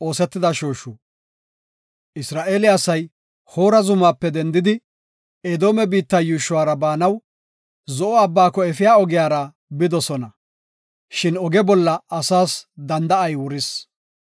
Isra7eele asay Hoora zumaape dendidi, Edoome biitta yuushuwara baanaw Zo7o Abbaako efiya ogiyara bidosona; shin oge bolla asaas danda7ay wuris.